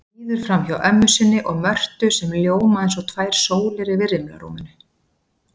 Líður framhjá ömmu sinni og Mörtu sem ljóma eins og tvær sólir yfir rimlarúminu.